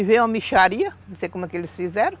E veio uma mixaria, não sei como é que eles fizeram.